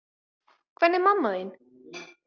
Hvernig er mamma þín?